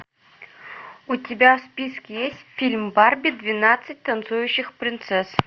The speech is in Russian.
у тебя в списке есть фильм барби двенадцать танцующих принцесс